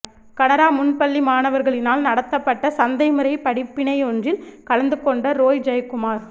கனரா முன்பள்ளி மாணவா்களினால் நடாத்தப்பட்ட சந்தை முறை படிப்பினையொன்றில் கலந்துகொண்ட றோய் ஜெயக்குமார்